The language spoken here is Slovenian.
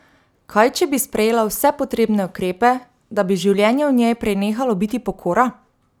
Kaj če bi sprejela vse potrebne ukrepe, da bi življenje v njej prenehalo biti pokora?